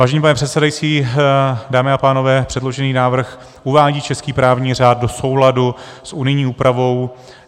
Vážený pane předsedající, dámy a pánové, předložený návrh uvádí český právní řád do souladu s unijní úpravou.